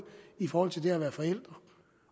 i forhold til det at være forældre